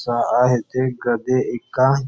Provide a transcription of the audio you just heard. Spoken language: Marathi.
चा आहे ते गधे एका--